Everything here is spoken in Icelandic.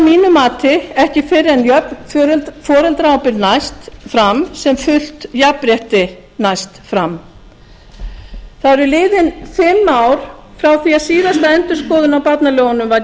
mati ekki fyrr en jöfn foreldraábyrgð næst fram sem fullt jafnrétti næst fram það eru liðin fimm ár frá því að síðasta endurskoðun á barnalögunum var